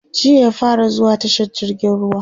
jiya ya fara zuwa tashar jirgin ruwa